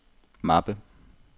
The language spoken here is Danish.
mappe